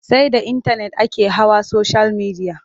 Sai da intanet ake hawa soshiyal midiya.